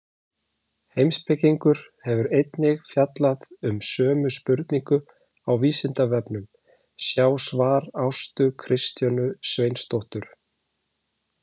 Heimspekingur hefur einnig fjallað um sömu spurningu á Vísindavefnum, sjá svar Ástu Kristjönu Sveinsdóttur.